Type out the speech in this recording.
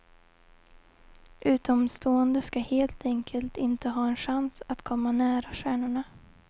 Utomstående ska helt enkelt inte ha en chans att komma nära stjärnorna.